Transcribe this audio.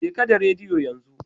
Jeka da rediyo yanzu